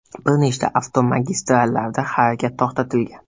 Bir nechta avtomagistrallarda harakat to‘xtatilgan.